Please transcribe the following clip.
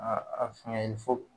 fɛngɛ